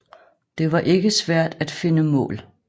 Det var ikke svært at finde mål